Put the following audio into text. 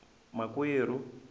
makwerhu